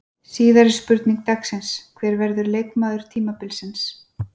Síðari spurning dagsins: Hver verður leikmaður tímabilsins?